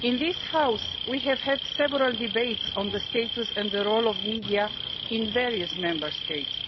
In this House we have had several debates on the status and role of the media in various Member States.